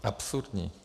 Absurdní.